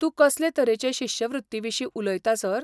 तूं कसले तरेचे शिश्यवृत्तीविशीं उलयता, सर?